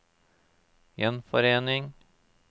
gjenforening